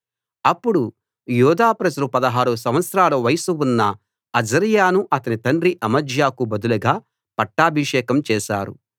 అప్పుడు యూదా ప్రజలు 16 సంవత్సరాల వయస్సు ఉన్న అజర్యాను అతని తండ్రి అమజ్యాకు బదులుగా పట్టాభిషేకం చేశారు